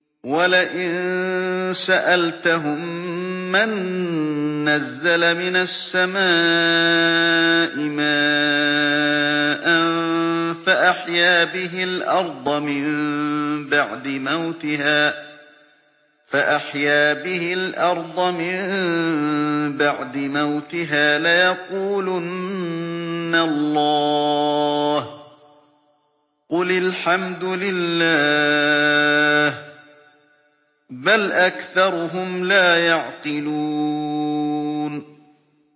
وَلَئِن سَأَلْتَهُم مَّن نَّزَّلَ مِنَ السَّمَاءِ مَاءً فَأَحْيَا بِهِ الْأَرْضَ مِن بَعْدِ مَوْتِهَا لَيَقُولُنَّ اللَّهُ ۚ قُلِ الْحَمْدُ لِلَّهِ ۚ بَلْ أَكْثَرُهُمْ لَا يَعْقِلُونَ